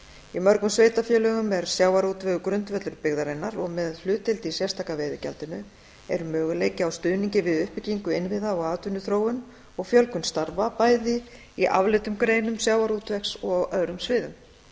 í mörgum sveitarfélögum er sjávarútvegur grundvöllur byggðarinnar og með hlutdeild í sérstaka veiðigjaldinu er möguleiki á stuðningi við uppbyggingu innviða og atvinnuþróun og fjölgun starfa bæði í afleiddum greinum sjávarútvegs og á öðrum sviðum